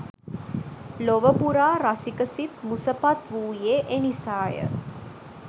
ලොව පුරා රසික සිත් මුසපත් වූයේ එනිසාය